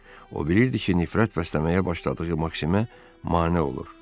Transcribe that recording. O bilirdi ki, nifrət bəsləməyə başladığı Maksimə mane olur.